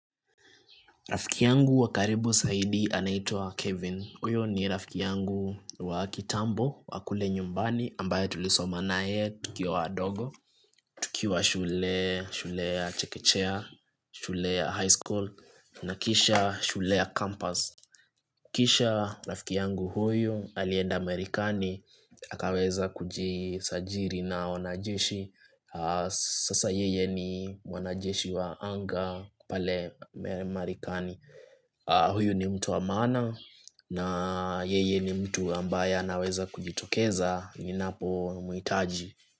Rafiki yangu wa karibu zaidi anaitwa Kevin. Huyo ni rafiki yangu wa kitambo wa kule nyumbani ambaye tulisoma naye tukiwa wadogo, tukiwa shule, shule ya chekechea, shule ya high school, na kisha shule ya campus. Kisha rafiki yangu huyu alienda Marekani akaweza kujisajili na wanajeshi Sasa yeye ni mwanajeshi wa anga pale Marekani huyu ni mtu wa maana na yeye ni mtu ambaye anaweza kujitokeza ninapomhitaji.